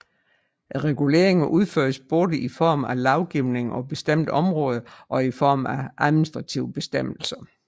Reguleringerne udføres både i form af lovgivning på bestemte områder og i form af administrative bestemmelser